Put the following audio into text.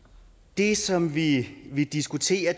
det som vi vi diskuterer